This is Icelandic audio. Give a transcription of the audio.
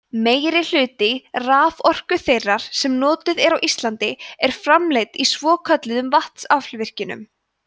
meirihluti raforku þeirrar sem notuð er á íslandi er framleidd í svokölluðum vatnsaflsvirkjunum